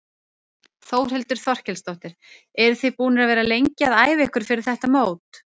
Þórhildur Þorkelsdóttir: Eruð þið búnir að vera lengi að æfa ykkur fyrir þetta mót?